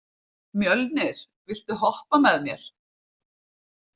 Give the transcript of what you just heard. Mjölnir, viltu hoppa með mér?